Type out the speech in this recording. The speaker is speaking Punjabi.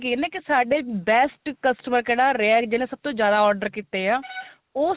ਗਈ ਨਾ ਸਾਡੇ best customer ਕਿਹੜਾ ਰਿਹਾ ਜਿਹੜਾ ਸਭ ਤੋ ਜਿਆਦਾ order ਕੀਤੇ ਏ ਉਸ